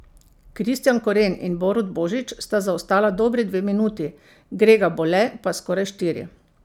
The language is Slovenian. Kristijan Koren in Borut Božič sta zaostala dobri dve minuti, Grega Bole pa skoraj štiri.